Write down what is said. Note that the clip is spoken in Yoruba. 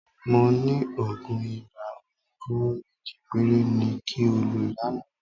Mo ní òògùn ibà oníkóró méjì péré ni kí o lò lánàá